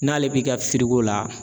N'ale b'i ka firigo la